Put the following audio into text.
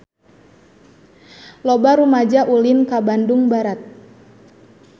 Loba rumaja ulin ka Bandung Barat